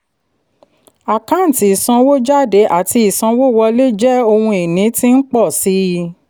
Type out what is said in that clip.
àkáǹtí ìsanwójádé àti ìsanwówọlé jẹ́ ohun ìní tí ń pọ̀ sí i.